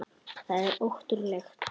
Það er ótrúleg tala.